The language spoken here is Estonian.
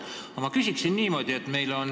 Aga ma küsin niimoodi.